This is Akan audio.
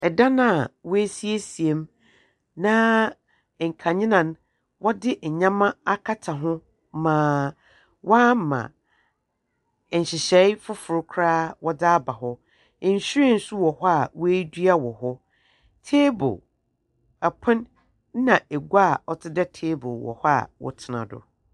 Dan a woesiesie mu, na nkadzea no, wɔdze ndzɛmba akata ho na wɔama nhyehyɛɛ fofor kora wɔdze aba hɔ. Nhyiren so wɔ hɔ a woedua wɔ hɔ. Table, pon na egua a ɔtse dɛ table wɔ hɔ a wɔtsena do.